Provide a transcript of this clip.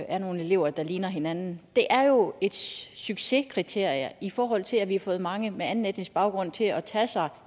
er nogle elever der ligner hinanden er jo et succeskriterie i forhold til at vi har fået mange med anden etnisk baggrund til at tage sig